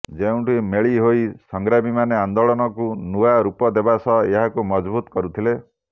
ଯେଉଁଠି ମେଳି ହୋଇ ସଂଗ୍ରାମୀମାନେ ଆନ୍ଦୋଳନକୁ ନୂଆ ରୂପ ଦେବା ସହ ଏହାକୁ ମଜବୁତ୍ କରୁଥିଲେ